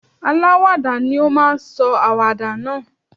Aláwàdà ni ó máa sọ àwàdà náà.